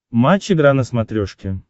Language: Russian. матч игра на смотрешке